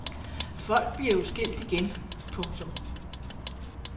Folk bliver jo skilt igen. punktum